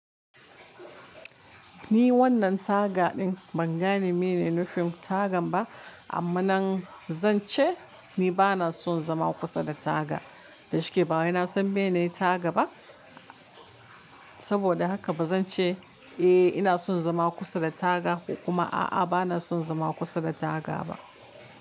Ni wannan taga ɗin ban gane mene ne nufim tagan ba, amma nan zan ce ni ba na son zama kusa da taga. Dashi ke bawani na san meye ne ne taga ba. Saboda haka ba zan ce, eh, ina son zama kusa da taga ko kuma a'a, ba na son zama kusa da taga ba.